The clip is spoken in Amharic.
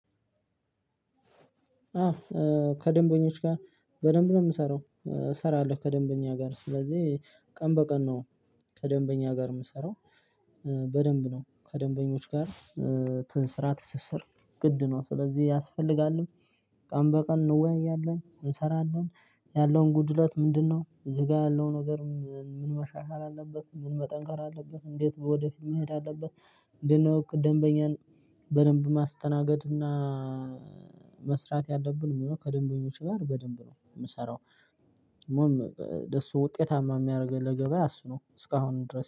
አዎ ከደንበኞች ጋር በደንብ ነው ምሰራው። ሰራለሁ ከደንበኛ ጋር ስለዚህ ቀን በቀን ነው። ከደንበኛ ጋር ምሰራው። በደንብ ነው ከደንበኞች ጋር። ትንስራ ትስስር ግድ ነው ስለዚህ ያስፈልጋልም። ቀን በቀን እንወያያለን እንሰራለን ያለውን ጉድለት ምንድነው እዚህ ጋር ያለው ነገር? ምን መሻሻል አለበት ምን መጠንከር አለበት እንዴት ወደፊት መሄድ አለበት? እንዴት ነው? ደምበኛን በደንብ ማስተናገድ እና መስራት ያለብን ሚለው ከደንበኞች ጋር በደንብ ነው ምሰራው። ሞም ደሱ ውጤታማ የሚያረገን ለገበያ እሱ ነው እስካሁን ድረስ